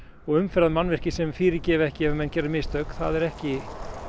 og umferðarmannvirki sem fyrirgefa ekki ef menn gera mistök það er ekki